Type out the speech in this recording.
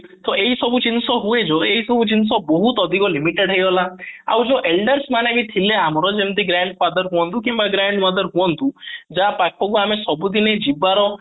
ତ ଏଇ ସବୁ ଜିନିଷ ହୁଏ ଯୋଉ ଏଇ ସବୁ ଜିନିଷ ବହୁତ ଅଧିକ limited ହେଇଗଲା ଆଉ ଯୋଉ elders ମାନେ ବି ଥିଲେ ଆମର ଯେମିତି କି grandfather ହୁଅନ୍ତୁ କିମ୍ବା grandmother ହୁଅନ୍ତୁ ଯାହା ପାଖ କୁ ଆମେ ସବୁଦିନେ ଯିବାର